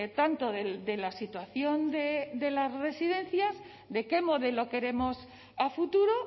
tanto de la situación de las residencias de qué modelo queremos a futuro